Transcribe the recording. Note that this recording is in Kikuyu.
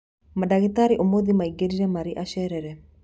Mandagĩtarĩ ũmũthĩ maingĩrire marĩ acerere